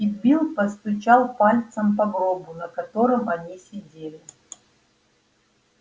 и билл постучал пальцем по гробу на котором они сидели